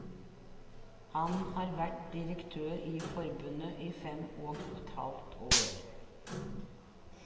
Han har vært direktør i forbundet i fem og et halvt år.